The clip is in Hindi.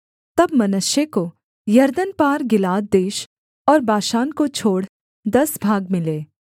तब मनश्शे को यरदन पार गिलाद देश और बाशान को छोड़ दस भाग मिले